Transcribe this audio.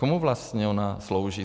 Komu vlastně ona slouží?